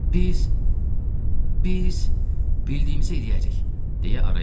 Biz, biz bildiyimizə eləyərik, - deyə araya girdim.